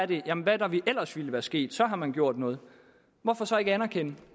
det om hvad der ellers ville være sket så har man gjort noget hvorfor så ikke anerkende